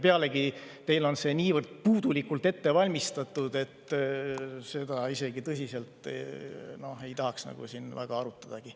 Pealegi, teil on see niivõrd puudulikult ette valmistatud, et seda ei tahaks siin isegi väga tõsiselt arutada.